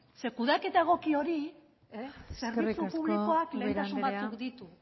zeren eta kudeaketa egoki hori zerbitzu publikoak lehentasun batzuk ditu